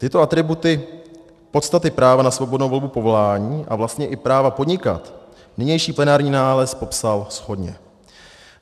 Tyto atributy podstaty práva na svobodnou volbu povolání a vlastně i práva podnikat nynější plenární nález popsal shodně.